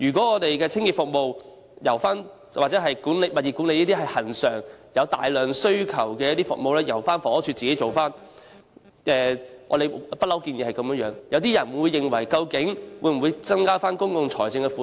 我們認為清潔服務或物業管理等恆常、有大量需求的服務應改由房署自行負責，這也是我們一直所建議的，但有人質疑會否增加公共財政的負擔。